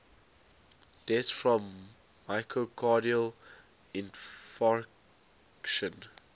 deaths from myocardial infarction